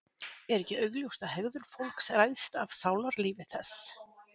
Er ekki augljóst að hegðun fólks ræðst af sálarlífi þess?